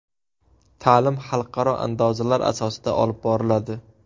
Ta’lim xalqaro andozalar asosida olib boriladi.